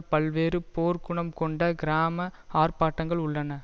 பல்வேறு போர் குணம் கொண்ட கிராம ஆர்ப்பாட்டங்கள் உள்ளன